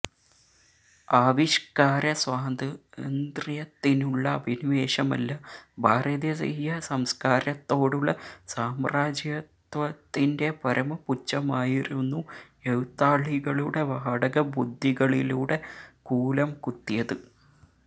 ആവിഷ്ക്കാര സ്വാതന്ത്ര്യത്തിനുള്ള അഭിനിവേശമല്ല ഭാരതീയ സംസ്ക്കാരത്തോടുള്ള സാമ്രാജ്യത്വത്തിന്റെ പരമപുച്ഛമായിരുന്നു എഴുത്താളികളുടെ വാടകബുദ്ധികളിലൂടെ കൂലം കുത്തിയത്